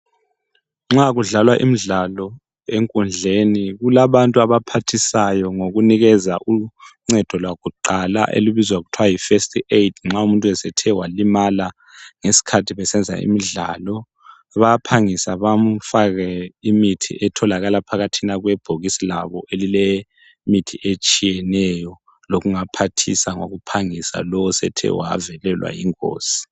Nxa kudlalwa imidlalo enkundleni kulabantu abaphathisayo ngokunikeza uncedo lwakuqala olubizwa kuthwa yiFirst Aid nxa umuntu esethe walimala ngesikhathi besenza imidlalo. Bayaphangisa bamfake imithi etholakala phakathi kwebhokisi labo elilemithi etshiyeneyo lokungaphathisa ngokuphangisa lowo osethe wavelelwa yingozi.